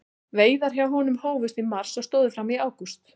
Veiðar hjá honum hófust í mars og stóðu fram í ágúst.